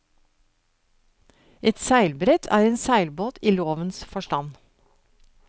Et seilbrett er en seilbåt i lovens forstand.